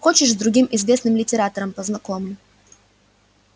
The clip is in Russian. хочешь с другим известным литератором познакомлю